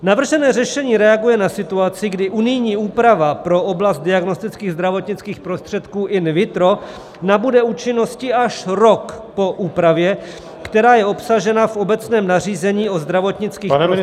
Navržené řešení reaguje na situaci, kdy unijní úprava pro oblast diagnostických zdravotnických prostředků in vitro nabude účinnosti až rok po úpravě, která je obsažena v obecném nařízení o zdravotnických prostředcích -